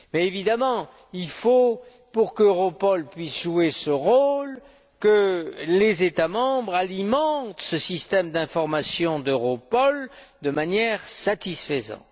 Évidemment, il faut, pour qu'Europol puisse jouer ce rôle, que les États membres alimentent ce système d'information d'Europol de manière satisfaisante.